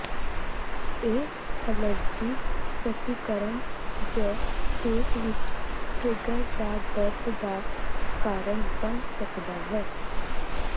ਇਹ ਐਲਰਜੀ ਪ੍ਰਤੀਕਰਮ ਜ ਪੇਟ ਵਿੱਚ ਟਰਿੱਗਰ ਦਾ ਦਰਦ ਦਾ ਕਾਰਨ ਬਣ ਸਕਦਾ ਹੈ